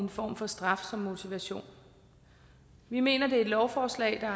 form for straf som motivation vi mener det er et lovforslag der